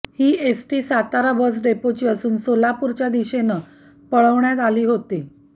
ही ST Satara bus डेपोची असून सोलापूरच्या दिशेनं पळवण्यात आली होती